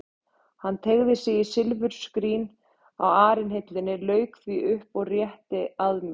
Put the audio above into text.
Hann teygði sig í silfurskrín á arinhillunni, lauk því upp og rétti að mér.